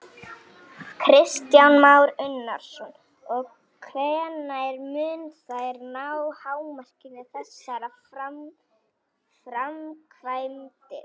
Kristján Már Unnarsson: Og hvenær munu þær ná hámarki, þessar framkvæmdir?